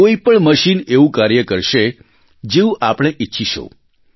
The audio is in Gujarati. કોઇ પણ મશીન એવું કાર્ય કરશે જેવું આપણે ઇચ્છીશું